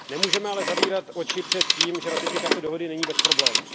Nemůžeme ale zavírat oči před tím, že ratifikace dohody není bez problémů.